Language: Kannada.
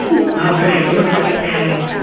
ಹಾ full ಜೋರ್ ಪಟಾಕಿಯಲ್ಲ madam .